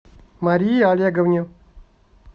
марии олеговне